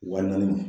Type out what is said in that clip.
Wa naani ma